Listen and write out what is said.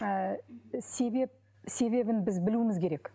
ыыы себеп себебін біз білуіміз керек